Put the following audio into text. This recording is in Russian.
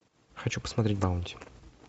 хочу посмотреть баунти